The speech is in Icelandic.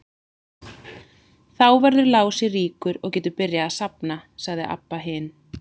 Þá verður Lási ríkur og getur byrjað að safna, sagði Abba hin.